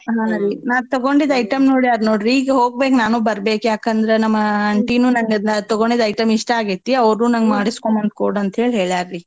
ಹಾ ರಿ ನಾ ತಗೊಂಡಿದ್ item ನೋಡ್ಯಾರ್ ನೋಡ್ರಿ ಈಗ್ ಹೋಗ್ಬೇಕ್ ನಾನೂ ಬರ್ಬೇಕ್ ಯಾಕಂದ್ರೆ ನಮ್ಮ aunty ನೂ ನಂಗ್ಅದ್ ನಾ ತೊಗೊಂಡಿದ್ item ಇಷ್ಟಾ ಆಗೈತಿ ಅವ್ರಗೂ ನಂಗ್ ಮಾಡಿಸ್ಕೊಂಡ್ ಬಂದ್ ಕೊಡ್ ಅಂತ್ಹೇಳ್ ಹೇಳ್ಯಾರ್ರಿ.